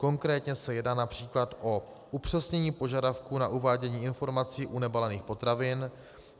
Konkrétně se jedná například o upřesnění požadavku na uvádění informací u nebalených potravin.